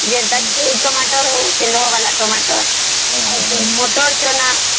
ସେ tomato ହଉ କି ଲୋହା ଵାଲା tomato ମଟର ଚଣା